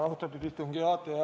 Austatud istungi juhataja!